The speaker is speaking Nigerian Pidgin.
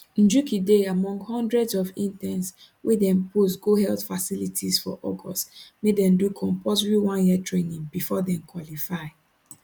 njuki dey among hundreds of interns wey dem post go health facilities for august make dem do compulsory one year training bifor dem qualify